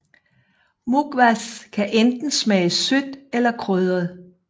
Mukhwas kan enten smage sødt eller krydret